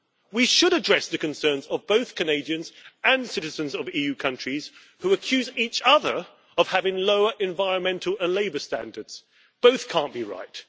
We should address the concerns of both Canadians and citizens of EU countries who accuse each other of having lower environmental and labour standards. Both cannot be right.